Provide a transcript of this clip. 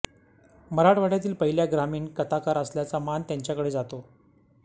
मराठवाड्यातील पहिल्या ग्रामीण कथाकार असल्याचा मान त्यांच्याकडे जातो